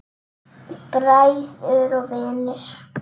Bræður og vinir.